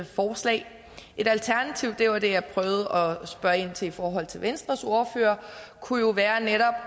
forslag et alternativ og det var det jeg prøvede at spørge ind til i forhold til venstres ordfører kunne jo være netop